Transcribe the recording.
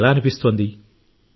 ఇది ఎలా అనిపిస్తుంది